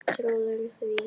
Trúirðu því?